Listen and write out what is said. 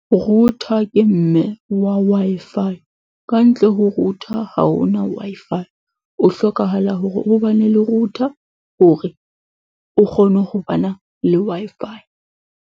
Router ke mme wa Wi-Fi. Ka ntle ho router ha ho na Wi-Fi. O hlokahala hore o bane le router hore o kgone ho bana le Wi-Fi.